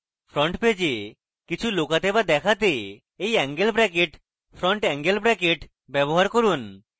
front পেজে কিছু লুকাতে to দেখাতে এই এঙ্গেল bracketfront এঙ্গেল bracket ব্যবহার করুন